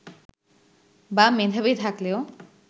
বা মেধাবী থাকলেও